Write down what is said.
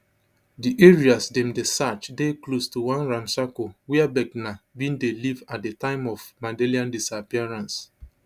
di areas dem dey search dey close to one ramshackle wia brckner bin dey live at di time of madeleine disappearance